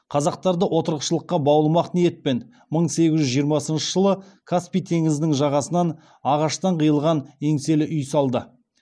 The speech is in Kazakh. қазақтарды отырықшылыққа баулымақ ниетпен мың сегіз жүз жиырмасыншы жылы каспий теңізінің жағасынан ағаштан қиылған еңселі үй салды